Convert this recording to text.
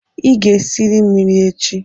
Ị ga-esiri m nri echi.!